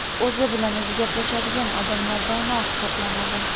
O‘zi bilan o‘zi gaplashadigan odamlar dono hisoblanadi.